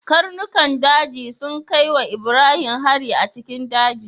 Karnukan daji sun kai wa Ibrahim hari a cikin daji.